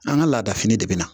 An ka laada fini de bɛ na